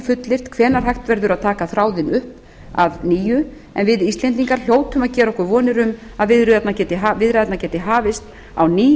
fullyrt hvenær hægt verði að taka þráðinn upp að nýju en við íslendingar hljótum að gera okkur vonir um að viðræðurnar geti hafist að ný